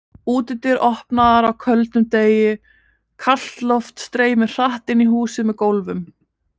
Útidyr opnaðar á köldum degi, kalt loft streymir hratt inn í húsið með gólfum.